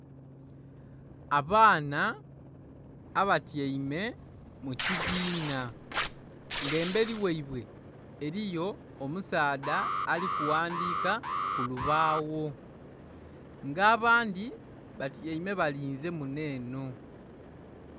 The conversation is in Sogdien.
Abaana abatyaime mu kibiina, nga emberi ghaibwe eriyo omusaadha ali kuwandiika ku lubagho, nga abandhi batyaime balinze muno eno.